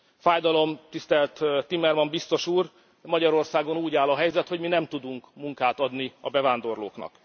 Fájdalom, tisztelt Timmermans biztos úr, Magyarországon úgy áll a helyzet, hogy mi nem tudunk munkát adni a bevándorlóknak.